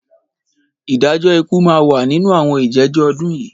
Ìdájọ́ ikú máa wà nínú àwọn ìjẹ́jọ́ ọdún yìí.